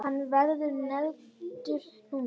Hann verður negldur núna!